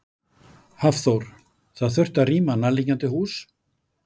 Hafþór: Það þurfti að rýma nærliggjandi hús?